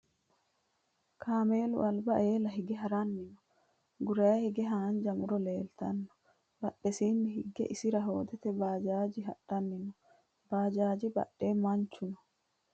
Kaamelu alba eela hige haranni noo. Guraa higgeno haanja muro leelitannoe. Badhesiinni hige isira hoodete bajajeno hadhanni no.bajaji badhee mancho no.